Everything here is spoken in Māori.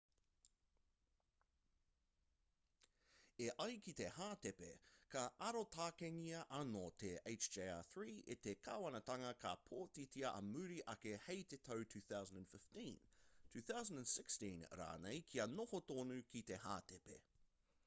e ai ki te hātepe ka arotakengia anō te hjr-3 e te kāwanatanga ka pōtitia ā muri ake hei te tau 2015 2016 rānei kia noho tonu ki te hātepe